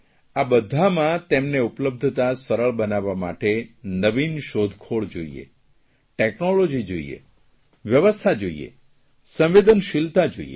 આ બધામાં તેમને ઉપલબ્ધતા સરળ બનાવવા માટે નવીન શોધખોળ જોઇએ ટેકનોલોજી જોઇએ વ્યવસ્થા જોઇએ સંવેદનશીલતા જોઇએ